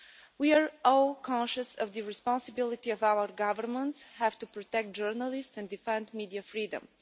We are all conscious of the responsibility our governments have to protect journalists and defend media freedom.